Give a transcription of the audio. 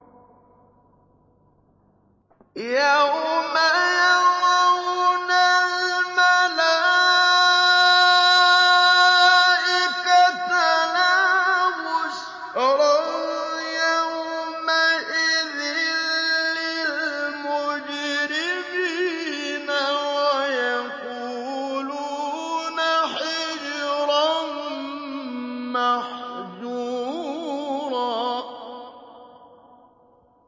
يَوْمَ يَرَوْنَ الْمَلَائِكَةَ لَا بُشْرَىٰ يَوْمَئِذٍ لِّلْمُجْرِمِينَ وَيَقُولُونَ حِجْرًا مَّحْجُورًا